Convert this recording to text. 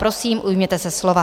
Prosím, ujměte se slova.